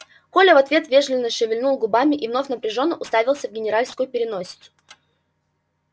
коля в ответ вежливо шевельнул губами и вновь напряжённо уставился в генеральскую переносицу